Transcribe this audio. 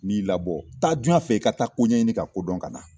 N ɲi labɔ taa duyan fɛ, i ka taa koɲaɲini, ka kodɔn, ka na.